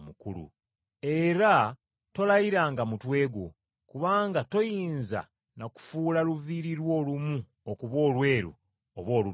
Era tolayiranga mutwe gwo, kubanga toyinza na kufuula luviiri lwo olumu okuba olweru oba oluddugavu.